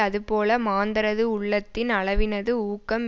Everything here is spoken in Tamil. அதுபோல மாந்தரது உள்ளத்தின் அளவினது ஊக்கம்